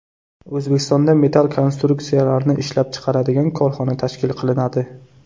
O‘zbekistonda metall konstruksiyalarni ishlab chiqaradigan korxona tashkil qilinadi.